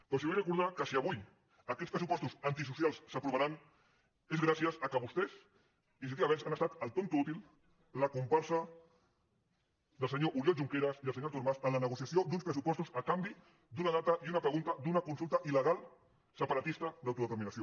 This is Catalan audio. però els vull recordar que si avui aquests pressupostos antisocials s’aprovaran és gràcies al fet que vostès iniciativa verds han estat el tonto útil la comparsa del senyor oriol junqueras i del senyor artur mas en la negociació d’uns pressupostos a canvi d’una data i una pregunta d’una consulta il·legal separatista d’autodeterminació